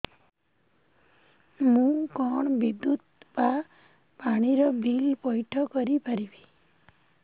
ମୁ କଣ ବିଦ୍ୟୁତ ବା ପାଣି ର ବିଲ ପଇଠ କରି ପାରିବି